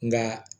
Nka